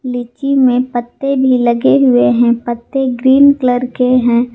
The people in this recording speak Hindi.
लीची में पत्ते भी लगे हुए हैं पत्ते ग्रीन कलर के हैं।